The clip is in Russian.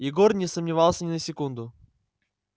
егор не сомневался ни на секунду